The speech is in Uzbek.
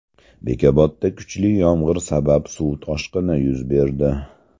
Bekobodda kuchli yomg‘ir sabab suv toshqini yuz berdi.